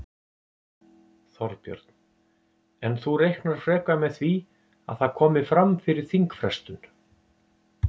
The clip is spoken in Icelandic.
Þorbjörn: En þú reiknar frekar með því að það komi fram fyrir þingfrestun?